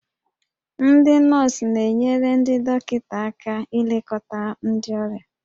Ndị nọọsụ na-enyere ndị dọkịta aka ilekọta ndị ọrịa